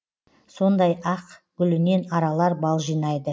сондай ақ гүлінен аралар бал жинайды